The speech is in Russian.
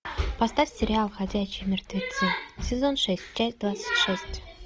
поставь сериал ходячие мертвецы сезон шесть часть двадцать шесть